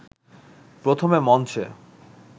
প্রথমে মঞ্চে